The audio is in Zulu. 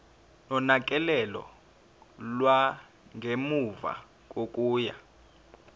nonakekelo lwangemuva kokuya